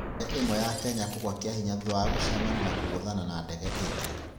Ndege ĩmwe ya Kenya kugua kiahinya thutha wa gũcemania na kũgũthana na ndege cingĩ.